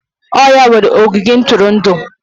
Ọ ya nwere ogige ntụrụndụ.